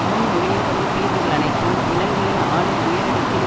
முன்மொழியப்படும் தீர்வுகள் அனைத்தும் இலங்கையின் ஆளும் உயரடுக்கின்